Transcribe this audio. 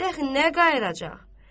Dəxi nə qayıracaq?